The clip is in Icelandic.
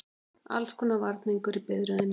Allskonar varningur í biðröðinni.